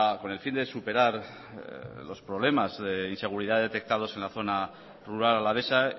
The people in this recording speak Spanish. con el fin de superar los problemas de inseguridad detectados en la zona rural alavesa